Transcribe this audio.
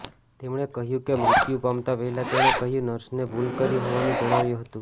તેમણે કહ્યું કે મૃત્યુ પામતા પહેલાં તેણે કહ્યું નર્સને ભુલ કરી હોવાનું જણાવ્યું હતું